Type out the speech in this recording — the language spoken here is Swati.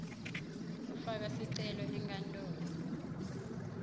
ufaka sicelo enkantolo